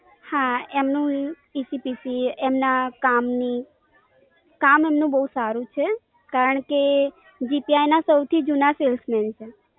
હા એમનું યુ PCPC એમના કામની. કામ એમનો બહુ સારું છે. કારણ કે ના સવથી જૂના Salesman છે,